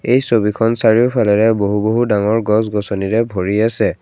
এই ছবিখন চাৰিওফালেৰে বহু বহু ডাঙৰ গছ গছনিৰে ভৰি আছে।